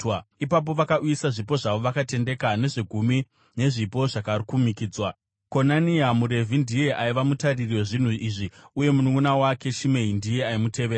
Ipapo vakauyisa zvipo zvavo vakatendeka, nezvegumi nezvipo zvakakumikidzwa. Konania muRevhi ndiye aiva mutariri wezvinhu izvi uye mununʼuna wake Shimei ndiye aimutevera.